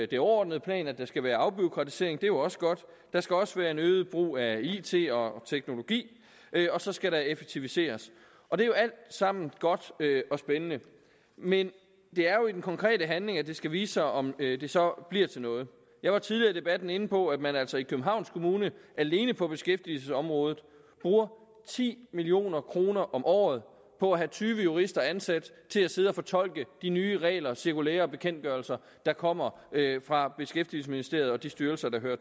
det overordnede plan at der skal være afbureaukratisering og det er jo også godt der skal også være en øget brug af it og teknologi og så skal der effektiviseres og det er jo alt sammen godt og spændende men det er jo i den konkrete handling at det skal vise sig om det så bliver til noget jeg var tidligere i debatten inde på at man altså i københavns kommune alene på beskæftigelsesområdet bruger ti million kroner om året på at have tyve jurister ansat til at sidde og fortolke de nye regler cirkulærer og bekendtgørelser der kommer fra beskæftigelsesministeriet og de styrelser der hører